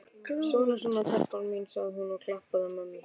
Svona, svona, telpa mín, sagði hún og klappaði mömmu.